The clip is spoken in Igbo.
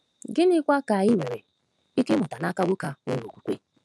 Gịnịkwa ka anyị nwere ike ịmụta n’aka nwoke a nwere okwukwe?